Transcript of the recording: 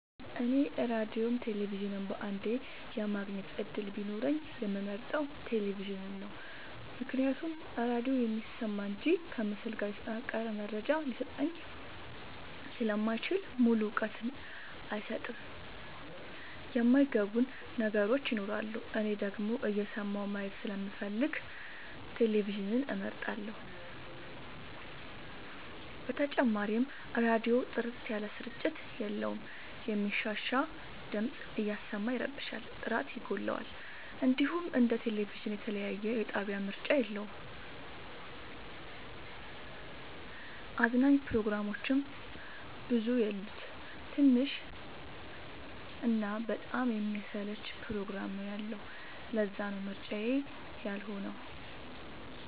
እኔ ራዲዮም ቴሌቪዥንም በአንዴ የማግኘት እድል ቢኖረኝ የምመርጠው። ቴሌቪዥንን ነው ምክንያቱም ራዲዮ የሚሰማ እንጂ ከምስል ጋር የተጠናቀረ መረጃ ሊሰጠኝ ስለማይችል ሙሉ እውቀት አይሰጥም የማይ ገቡን ነገሮች ይኖራሉ። እኔ ደግሞ እየሰማሁ ማየት ስለምፈልግ ቴሌቪዥንን እመርጣለሁ። በተጨማሪም ራዲዮ ጥርት ያለ ስርጭት የለውም የሚንሻሻ ድምፅ እያሰማ ይረብሻል ጥራት ይጎለዋል። እንዲሁም እንደ ቴሌቪዥን የተለያየ የጣቢያ ምርጫ የለውም። አዝናኝ ፕሮግራሞችም ብዙ የሉት ትንሽ እና በጣም የሚያሰለች ፕሮግራም ነው ያለው ለዛነው ምርጫዬ ያልሆ ነው።